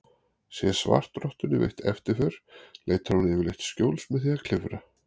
Sé svartrottunni veitt eftirför leitar hún yfirleitt skjóls með því að klifra.